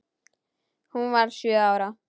Hún varð sjö ára.